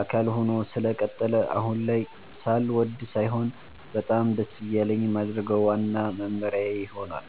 አካል ሆኖ ስለቀጠለ አሁን ላይ ሳልወድ ሳይሆን በጣም ደስ እያለኝ የማደርገው ዋናው መመሪያዬ ሆኗል።